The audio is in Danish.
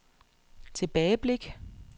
tilbageblik